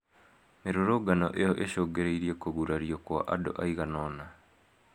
Mĩrũrũngano ĩyo ĩcungĩrĩirie kũgurario kwa andũ aigana ona